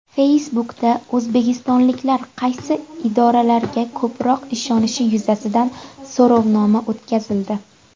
Facebook’da o‘zbekistonliklar qaysi idoralarga ko‘proq ishonishi yuzasidan so‘rovnoma o‘tkazildi.